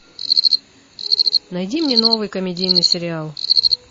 найди мне новый комедийный сериал